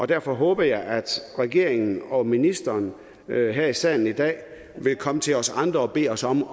derfor håber jeg at regeringen og ministeren her i salen i dag vil komme til os andre og bede os om